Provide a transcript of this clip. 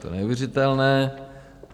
To je neuvěřitelné.